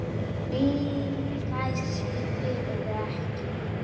Ég gæti slappað af.